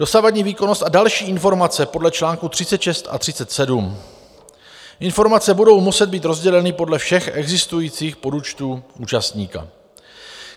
Dosavadní výkonnost a další informace podle článku 36 a 37: informace budou muset být rozděleny podle všech existujících podúčtů účastníka.